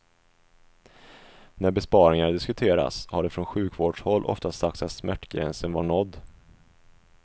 När besparingar diskuterats har det från sjukvårdshåll ofta sagts att smärtgränsen var nådd.